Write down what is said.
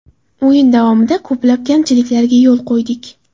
O‘yin davomida ko‘plab kamchiliklarga yo‘l qo‘ydik.